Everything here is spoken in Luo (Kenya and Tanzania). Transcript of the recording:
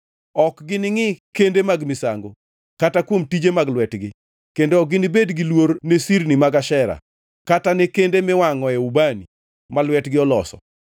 Ok gini ngʼi kende mag misango, kata kuom tije mag lwetgi, kendo ok ginibed gi luor ne sirni mag Ashera kata ne kende miwangʼoe ubani ma lwetgi oloso.